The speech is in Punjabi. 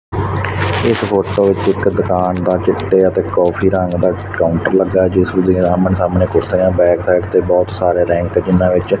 ਇਹ ਫੋਟੋ ਵਿੱਚ ਇਕ ਦੁਕਾਨ ਦਾ ਚਿੱਟੇ ਤੇ ਕਾਫੀ ਰੰਗ ਦਾ ਕਾਊਂਟਰ ਲੱਗਾ ਤੇ ਜਿਸ ਦੇ ਆਹਮਣੇ ਸਾਹਮਣੇ ਕੁਰਸੀਆਂ ਬੈਕ ਸਾਈਡ ਤੇ ਬਹੁਤ ਸਾਰੇ ਰੈਕ ਜਿੰਨਾ ਵਿੱਚ।